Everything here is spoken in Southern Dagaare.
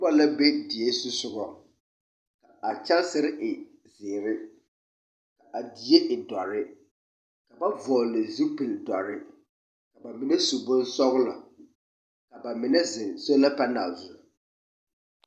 Noba la be die zusɔgaŋ, kaa kyansere e zeere ka a die e dɔre, ka ba vɔgle zupil dɔre, ka ba mine su bonsɔglɔ, ka ba mine zeŋ sola panɛl zuŋ.